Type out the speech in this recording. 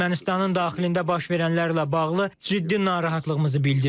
Ermənistanın daxilində baş verənlərlə bağlı ciddi narahatlığımızı bildirdik.